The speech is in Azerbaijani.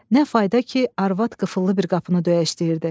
Nə fayda ki, arvad qıfıllı bir qapını döyəcəkdi.